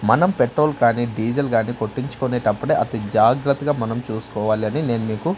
మనం పెట్రోల్ కానీ డీజిల్ గాని కొట్టించుకునేటప్పుడు అతి జాగ్రత్తగా మనం చూసుకోవాలి అని నేను మీకు--